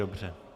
Dobře.